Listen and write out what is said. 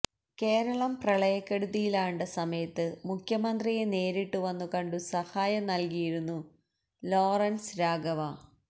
കേരളം പ്രളയക്കെടുതിയിലാണ്ട സമയത്ത് മുഖ്യമന്ത്രിയെ നേരിട്ട് വന്നു കണ്ടു സഹായം നല്കിയിരുന്നു ലോറന്സ് രാഘവ